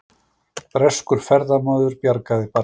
Breskur ferðamaður bjargaði barni